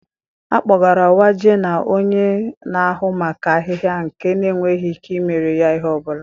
A kpọgara Waje na onye na-ahụ maka ahịhịa nke na-enweghị ike imere ya ihe ọ bụla.